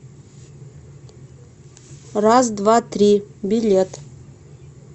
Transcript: раз два три билет